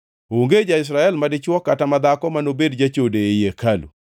Onge ja-Israel madichwo kata madhako manobed jachode ei hekalu.